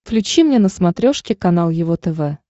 включи мне на смотрешке канал его тв